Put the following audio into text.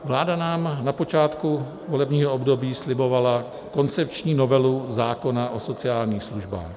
Vláda nám na počátku volebního období slibovala koncepční novelu zákona o sociálních službách.